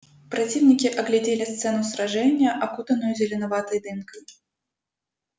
противники оглядели сцену сражения окутанную зеленоватой дымкой